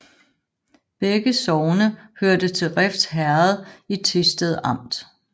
Begge sogne hørte til Refs Herred i Thisted Amt